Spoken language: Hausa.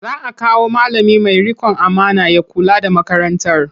Za a kawo malami mai riƙon amana ya kula da makarantar.